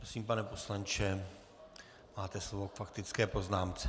Prosím, pane poslanče, máte slovo k faktické poznámce.